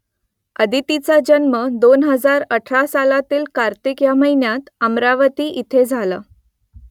अदितीचा जन्म दोन हजार अठरा सालातील कार्तिक ह्या महिन्यात अमरावती इथे झाला